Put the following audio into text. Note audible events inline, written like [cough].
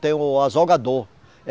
Tem o azougador. [unintelligible]